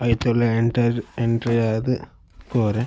ಐತ ಉಲಾಯ್ enter entry ಆದ್ ಪೋವೆರೆ.